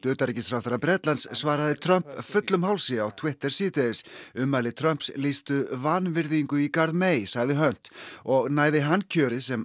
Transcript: utanríkisráðherra Bretlands svaraði Trump fullum hálsi á Twitter síðdegis ummæli Trumps lýstu vanvirðingu í garð sagði Hunt og næði hann kjöri sem